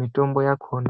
mitombo yakhona.